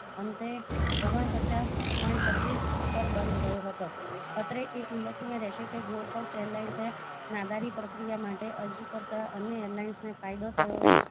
અંતે ઓગણપચાસ point પચ્ચીસ પર બંધ રહ્યો હતો અત્રે એ ઉલ્ખાનીય રહેશે કે go first airlines નાદાની પ્રકિયા માટે અરજી કરતા અન્ય airlines ને ફાયદો થયો